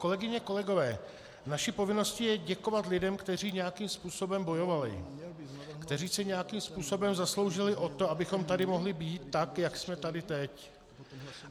Kolegyně, kolegové, naší povinností je děkovat lidem, kteří nějakým způsobem bojovali, kteří se nějakým způsobem zasloužili o to, abychom tady mohli být tak, jak jsme tady teď.